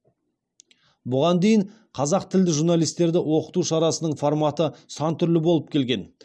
бұған дейін қазақ тілді журналистерді оқыту шарасының форматы сан түрлі болып келген